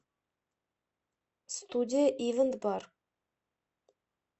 студия ивэнт бар